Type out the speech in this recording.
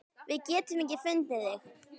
Við getum ekki fundið þig.